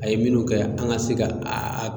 A ye minnu kɛ an ga se ga aa